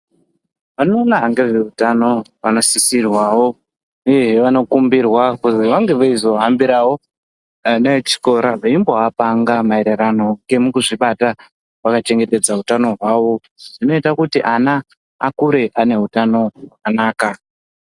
Anoona ngezveutano anosisirwa uyehe vanokumbirwa kuti vange veizohambirawo ana echikora veimbovapanga maererano ngemukuzvibata vakachengetedza utano hwavo, zvinoita kuti ana akure aneutano hwakanaka.